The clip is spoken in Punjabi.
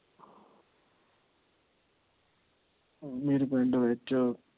ਮੇਰੇ ਪਿੰਡ ਵਿੱਚ